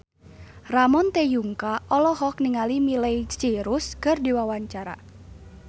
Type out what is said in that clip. Ramon T. Yungka olohok ningali Miley Cyrus keur diwawancara